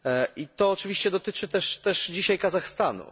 I to oczywiście dotyczy też dzisiaj Kazachstanu.